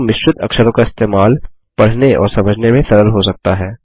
किन्तु मिश्रित अक्षरों का इस्तेमाल पढ़ने और समझने में सरल हो सकता है